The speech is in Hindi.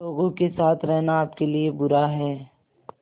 लोगों के साथ रहना आपके लिए बुरा है